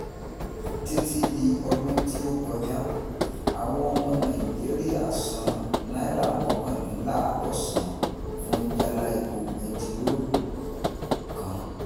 Títí dì ọdún tí o kọjá, àwọn ọmọ Nàìjíríà san náírà mọ́kàndinlààdọ́sàn fún jálá epo bentiroolu kan.